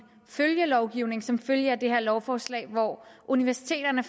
følgelovgivning som følge af det her lovforslag hvori universiteterne